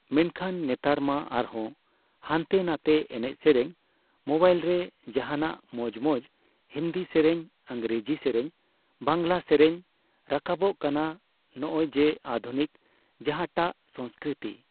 ᱢᱮᱱᱠᱷᱟᱱ ᱱᱮᱛᱟᱨ ᱢᱟ ᱟᱨᱦᱚᱸ ᱦᱟᱱᱛᱮ ᱱᱟᱛᱮ ᱮᱱᱮᱡ ᱥᱮᱨᱮᱧ ᱢᱚᱵᱟᱭᱤᱞ ᱨᱮ ᱡᱟᱦᱟᱸᱱᱟᱜ ᱢᱚᱸᱡᱽ ᱢᱚᱸᱡᱽ ᱦᱤᱱᱫᱤ ᱥᱮᱨᱮᱧ, ᱤᱝᱨᱮᱡᱤ ᱥᱮᱨᱮᱧ, ᱵᱟᱝᱞᱟ ᱥᱮᱨᱮᱧ ᱨᱟᱠᱟᱵᱚᱜ ᱠᱟᱱᱟ ᱾ ᱱᱚᱜ ᱚᱭ ᱡᱮ ᱟᱫᱷᱩᱱᱤᱠ ᱡᱟᱦᱟᱸᱴᱟᱜ ᱥᱚᱥᱚᱥᱠᱨᱤᱛᱤ